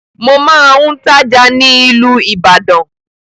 Mo máa ń tája ni ilu Ìbàdàn